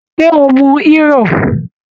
Ṣé o mu Hírò?